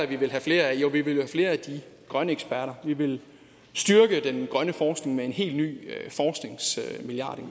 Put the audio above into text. vi vil have flere af jo vi vil jo have flere af de grønne eksperter vi vil styrke den grønne forskning med en helt ny